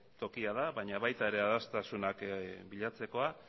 tokia da baina baita desadostasunak bilatzeko